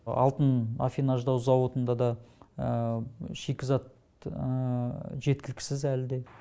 алтын афинаждау зауытында да шикізат жеткіліксіз әлі де